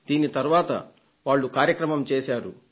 దీనిని తర్వాత వాళ్లు ఒక కార్యక్రమంగా చేశారు